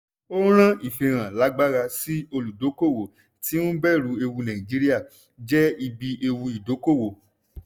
ó rán ìfihàn lágbara sí olùdókóòwò tí ń bẹ̀rù ewu nàìjíríà jẹ́ ibi ewu ìdókóòwò.